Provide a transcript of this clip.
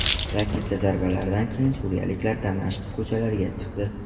Raketa zarbalaridan keyin suriyaliklar Damashq ko‘chalariga chiqdi .